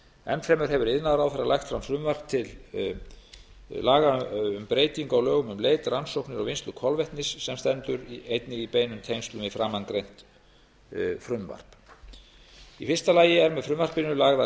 enn fremur hefur iðnaðarráðherra lagt fram frumvarp til breytinga á lögum um leit rannsóknir og vinnslu kolvetnis sem stendur einnig í beinum tengslum við framangreint útboð í fyrsta lagi eru með frumvarpinu lagðar